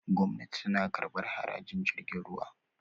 gwamnati tana kabar harajin jirgin ruwa